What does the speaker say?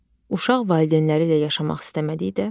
Uşaq valideynləri ilə yaşamaq istəmədikdə.